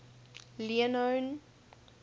leone